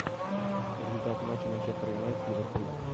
результат матча манчестер юнайтед ливерпуль